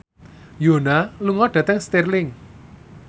Yoona lunga dhateng Stirling